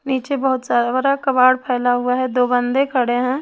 नीचे बहुत सारा कबाड़ फैला हुआ है दो बंदे खड़े हैं।